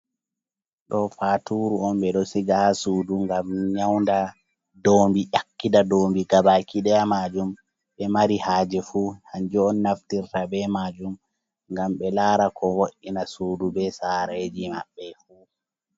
Ɗo faturu on be ɗo siga ha sudu ngam nyaunɗa, ɗoombi, yakkida ɗoombi gabakiɗeya majum. be mari haje fu hanju on naftirta be majum, ngam be lara ko vo’’ina suɗu be sareji mabbe fu.